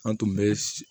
An tun bɛ